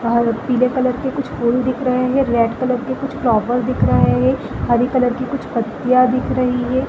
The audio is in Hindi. और पीले कलर के कुछ फूल दिख रहे है रेड कलर के कुछ फ्लावर दिख रहे है हरे कलर की कुछ पत्तियाँ दिख रही है ।